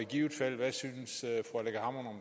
de rigeste